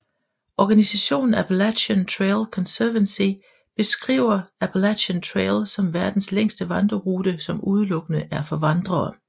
Organisationen Appalachian Trail Conservancy beskriver Appalachian Trail som verdens længste vandrerute som udelukkende er for vandrere